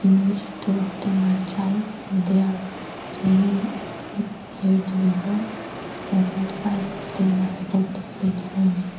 in which two of them are child and they are playing it here the river and five of them are above the platform.